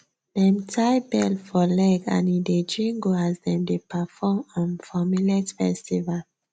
dem tie bell for leg and e dey jingle as dem dey perform um for millet festival